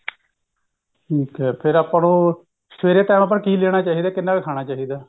ਠੀਕ ਐ ਫੇਰ ਆਪਾਂ ਨੂੰ ਸਵੇਰੇ time ਆਪਾਂ ਨੂੰ ਕਿ ਲੇਣਾ ਚਾਹਿਦਾ ਕਿੰਨਾ ਕ ਖਾਣਾ ਚਾਹਿਦਾ